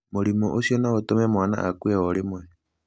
Mũrimũ ũcio no ũtũme mwana akue o rĩmwe.